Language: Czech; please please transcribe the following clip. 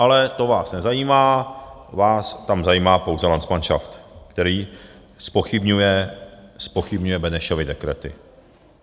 Ale to vás nezajímá, vás tam zajímá pouze landsmanšaft, který zpochybňuje Benešovy dekrety.